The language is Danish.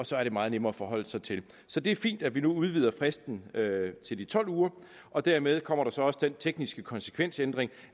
så er det meget nemmere at forholde sig til det så det er fint at vi nu udvider fristen til de tolv uger og dermed kommer der så også den tekniske konsekvensændring